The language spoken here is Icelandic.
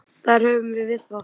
Þar höfum við það!